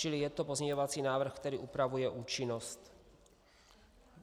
Čili je to pozměňovací návrh, který upravuje účinnost.